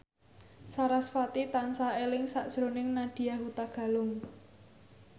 sarasvati tansah eling sakjroning Nadya Hutagalung